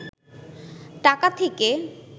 টাকা থেকে